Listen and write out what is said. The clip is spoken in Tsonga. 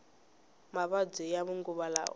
mavabyi ya manguva lawa